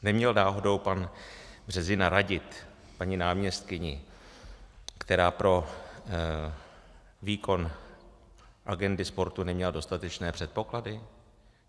Neměl náhodou pan Březina radit paní náměstkyni, která pro výkon agendy sportu neměla dostatečné předpoklady?